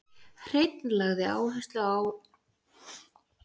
Hreinn lagði áherslu að birta niðurstöður rannsókna sinna á alþjóðlegum vettvangi.